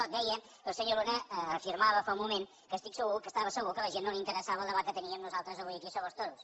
no deia que el senyor luna afirmava fa un moment que estava segur que a la gent no li interessava el debat que teníem nosaltres avui aquí sobre els toros